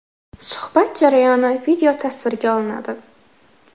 Suhbat jarayoni videotasvirga olinadi.